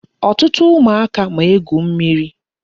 Ọtụtụ ụmụaka ma egwu mmiri.